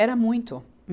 Era muito.